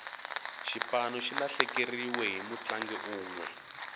xipano xi lahlekeriwe hi mutlangi unwe